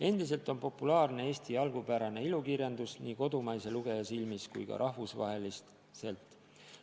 Endiselt on populaarne Eesti algupärane ilukirjandus nii kodumaise lugeja silmis kui ka rahvusvaheliselt.